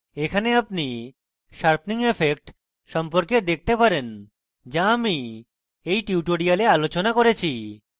এখানে আপনি sharpening effect সম্পর্কে দেখতে পারেন যা আমি এই tutorial আলোচনা করেছি